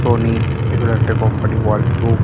Sony এই গুলো একটা কোম্পানি ওয়ার্লপ্র --